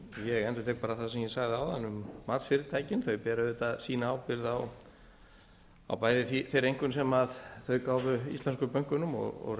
ég endurtek það sem ég sagði áðan um matsfyrirtækin þau bera auðvitað sína ábyrgð á bæði þeirri einkunn sem þau gáfu íslensku bönkunum og